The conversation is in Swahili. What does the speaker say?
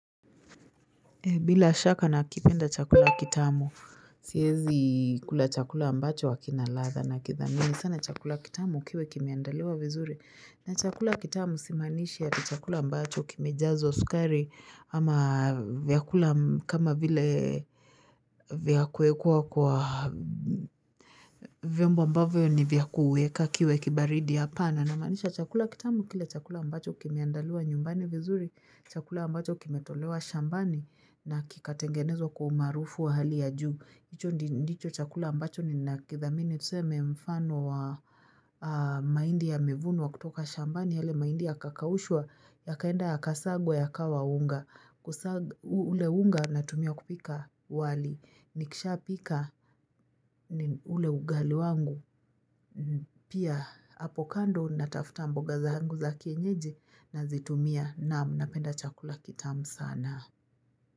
Bila shaka nakipenda chakula kitamu, siezi kula chakula ambacho hakina ladha nakithamini sana chakula kitamu kiwe kimeandaliwa vizuri. Na chakula kitamu simaanishi eti chakula ambacho kimejazwa sukari ama vyakula kama vile vya kuekwa kwa vyombo ambavyo ni vyakueka kiwe kibaridi hapa. Na namaanisha chakula kitamu kile chakula ambacho kimeandaliwa nyumbani vizuri, chakula ambacho kimetolewa shambani na kikatengenezwa kwa umaarufu wa hali ya juu. Hicho ndi ndicho chakula ambacho ninakithamini tuseme mfano wa mahindi yamevunwa kutoka shambani yale mahindi yakakaushwa yakaenda ya kasagwa yakawa unga kusaga ule unga natumia kupika wali ni kisha pika ni ule ugali wangu pia apo kando natafuta mboga zangu za kienyeji na zitumia naam napenda chakula kitamu sana.